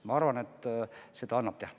Ma arvan, et seda annab teha.